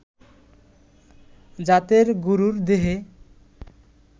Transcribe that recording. জাতের গরুর দেহে